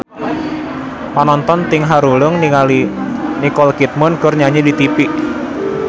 Panonton ting haruleng ningali Nicole Kidman keur nyanyi di tipi